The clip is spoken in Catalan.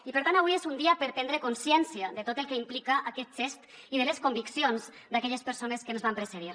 i per tant avui és un dia per prendre consciència de tot el que implica aquest gest i de les conviccions d’aquelles persones que ens van precedir